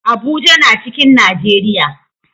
Abuja na cikin Najeriya